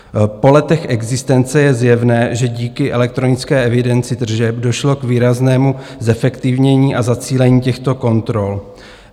Po letech existence je zjevné, že díky elektronické evidenci tržeb došlo k výraznému zefektivnění a zacílení těchto kontrol.